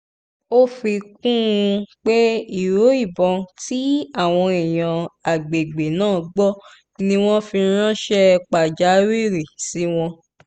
ó fi kún un pé ìró ìbọn tí àwọn èèyàn àgbègbè náà gbọ́ ni wọ́n fi ránṣẹ́ pàjáwìrì sí àwọn